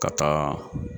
Ka taa